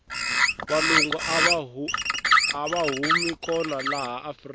valungu ava humi kona la afrika